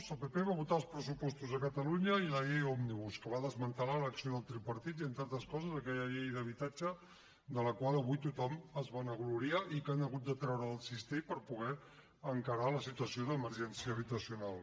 el pp va votar els pressupostos a catalunya i la llei òmnibus que va desmantellar l’acció del tripartit i entre altres coses aquella llei d’habitatge de la qual avui tothom es vanagloria i que han hagut de treure del cistell per poder encarar la situació d’emergència habitacional